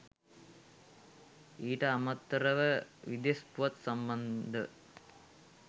ඊට අමතරව විදෙස් පුවත් සම්බන්ධ